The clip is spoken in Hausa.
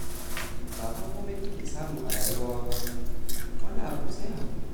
Ba fa komai kake samu a rayuwa ba fa, wani abin sai haƙuri